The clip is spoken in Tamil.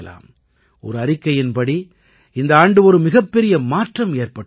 ஒரு அறிக்கையின்படி இந்த ஆண்டு ஒரு மிகப்பெரிய மாற்றம் ஏற்பட்டிருக்கிறது